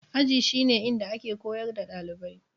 Aji shi ne inda ake koyar da ɗalibai